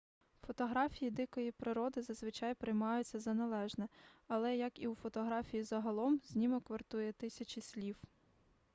фотографії дикої природи зазвичай приймаються за належне але як і у фотографії загалом знімок вартує тисячі слів